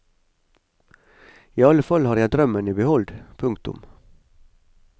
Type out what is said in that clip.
I alle fall har jeg drømmen i behold. punktum